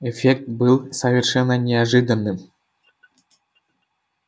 эффект был совершенно неожиданным